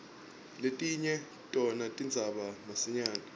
letinye tona tidzabuka masinyane